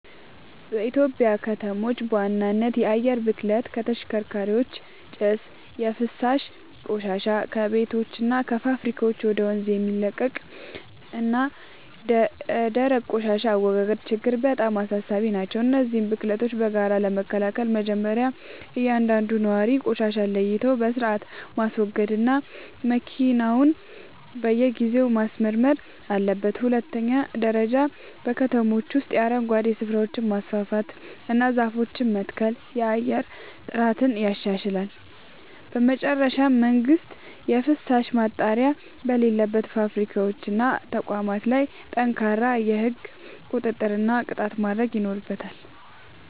በኢትዮጵያ ከተሞች በዋናነት የአየር ብክለት (ከተሽከርካሪዎች ጭስ)፣ የፍሳሽ ቆሻሻ (ከቤቶችና ከፋብሪካዎች ወደ ወንዝ የሚለቀቅ) እና የደረቅ ቆሻሻ አወጋገድ ችግሮች በጣም አሳሳቢ ናቸው። እነዚህን ብክለቶች በጋራ ለመከላከል መጀመርያ እያንዳንዱ ነዋሪ ቆሻሻን ለይቶ በሥርዓት ማስወገድና መኪናውን በየጊዜው ማስመርመር አለበት። በሁለተኛ ደረጃ በከተሞች ውስጥ የአረንጓዴ ስፍራዎችን ማስፋፋትና ዛፎችን መትከል የአየር ጥራትን ያሻሽላል። በመጨረሻም መንግሥት የፍሳሽ ማጣሪያ በሌላቸው ፋብሪካዎችና ተቋማት ላይ ጠንካራ የሕግ ቁጥጥርና ቅጣት ማድረግ ይኖርበታል።